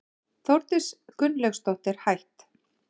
Þórdís Gunnlaugsdóttir, hætt